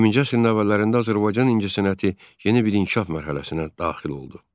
20-ci əsrin əvvəllərində Azərbaycan incəsənəti yeni bir inkişaf mərhələsinə daxil oldu.